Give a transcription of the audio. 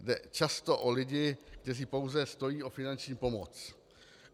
Jde často o lidi, kteří pouze stojí o finanční pomoc.